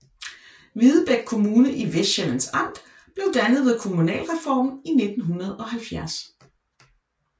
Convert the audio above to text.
Hvidebæk Kommune i Vestsjællands Amt blev dannet ved kommunalreformen i 1970